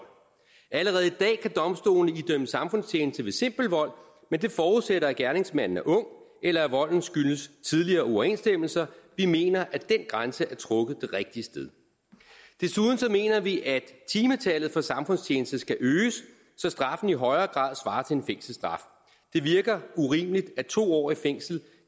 allerede i dag kan domstolene idømme samfundstjeneste ved simpel vold men det forudsætter at gerningsmanden er ung eller at volden skyldes tidligere uoverensstemmelser vi mener at den grænse er trukket det rigtige sted desuden mener vi at timetallet for samfundstjeneste skal øges så straffen i højere grad svarer til en fængselsstraf det virker urimeligt at to år i fængsel